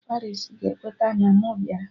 Paris ga-ekweta na mụ bịara!